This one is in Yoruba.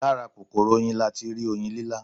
Lára kòkòrò Oyin latirí Oyin lílá